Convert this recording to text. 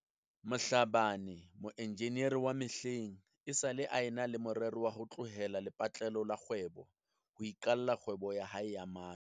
Mhlabane, moenjinere wa mehleng, esale a na le me rero ya ho tlohela lepatlelo la kgwebo ho iqalla kgwebo ya hae ya matlo.